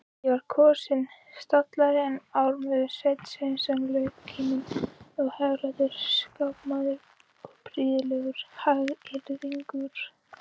Ég var kosinn stallari en ármaður Sveinn Sveinsson, launkíminn og hæglátur skákmaður og prýðilegur hagyrðingur.